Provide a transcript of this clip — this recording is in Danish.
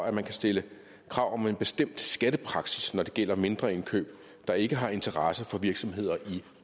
at man kan stille krav om en bestemt skattepraksis når det gælder mindre indkøb der ikke har interesse for virksomheder i